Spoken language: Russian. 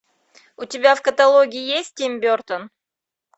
у тебя в каталоге есть тим бертон